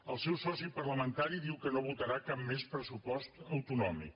el seu soci parlamentari diu que no votarà cap més pressupost autonòmic